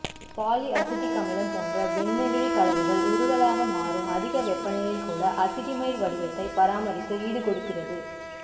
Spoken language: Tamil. பாலி அசிட்டிக் அமிலம் போன்ற வெந்நெகிழி கலவைகள் உருகலாக மாறும் அதிக வெப்பநிலையில் கூட அசிட்டமைடு வடிவத்தைப் பராமரித்து ஈடுகொடுக்கிறது